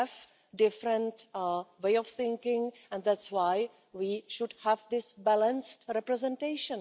We have different ways of thinking and that's why we should have this balanced representation.